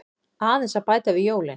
Aðeins að bæta við jólin.